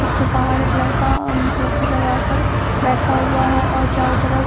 उसके बाहर एक लड़का कुर्सी लगा कर बैठा हुआ है और चारों तरफ --